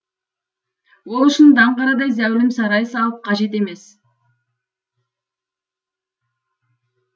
ол үшін даңғарадай зәулім сарай салып қажет емес